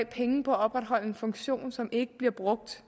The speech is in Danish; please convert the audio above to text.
penge på at opretholde en funktion som ikke bliver brugt